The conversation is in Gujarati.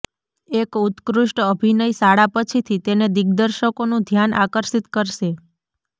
એક ઉત્કૃષ્ટ અભિનય શાળા પછીથી તેને દિગ્દર્શકોનું ધ્યાન આકર્ષિત કરશે